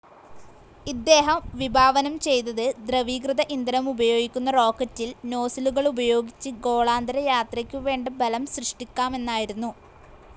ഇദ്ദേഹം വിഭാവനം ചെയ്തത് ദ്രവീകൃത ഇന്ധനമുപയോഗിക്കുന്ന റോക്കറ്റിൽ നോസിലുകളുപയോഗിച്ച് ഗോളാന്തരയാത്രയ്ക്കു വേണ്ട ബലം സൃഷ്ടിക്കാമെന്നായിരുന്നു.